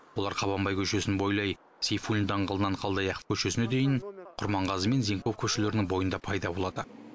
олар қабанбай көшесін бойлай сейфуллин даңғылынан қалдаяқов көшесіне дейін құрманғазы мен зенков көшелерінің бойында пайда болады